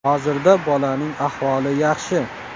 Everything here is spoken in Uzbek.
Hozirda bolaning ahvoli yaxshi.